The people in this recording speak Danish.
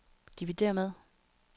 dividér med